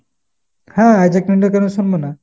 হ্যাঁ Isaac Newton কেন শুনবো না ?